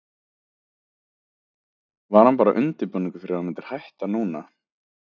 Var hún bara undirbúningur fyrir að þú myndir hætta núna?